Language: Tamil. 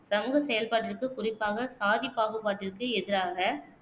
சமூக செயல்பாட்டிற்கு, குறிப்பாக சாதி பாகுபாட்டிற்கு எதிராக